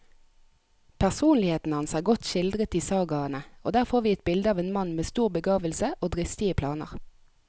Personligheten hans er godt skildret i sagaene, og der får vi et bilde av en mann med stor begavelse og dristige planer.